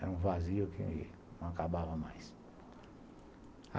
Era um vazio que não acabava mais.